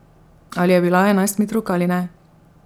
Ali je bila enajstmetrovka ali ne?